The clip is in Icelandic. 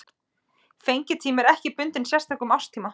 Fengitími er ekki bundinn sérstökum árstíma.